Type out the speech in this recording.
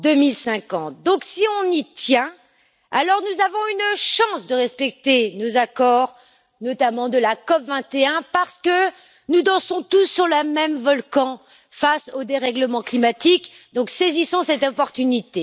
2050. Donc, si on y tient, alors nous avons une chance de respecter nos accords, notamment de la COP 21, parce que nous dansons tous sur le même volcan face aux dérèglements climatiques, donc saisissons cette opportunité.